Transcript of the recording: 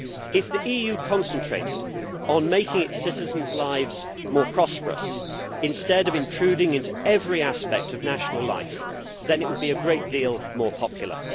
If the EU concentrated on making its citizens' lives more prosperous instead of intruding into every aspect of national life, it would be a great deal more popular.